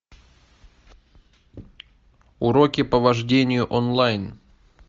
уроки по вождению онлайн